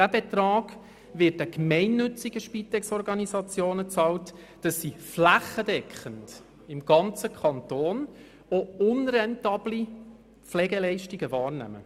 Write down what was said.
Dieser Betrag wird den gemeinnützigen Spitexorganisationen bezahlt, damit sie flächendeckend im ganzen Kanton auch unrentable Pflegeleistungen wahrnehmen.